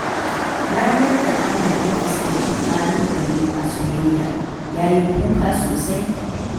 Ranar da Ahmad ya fuskanci ƙalubale a soyayya, ya yi kuka sosai.